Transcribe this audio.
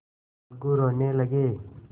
अलगू रोने लगे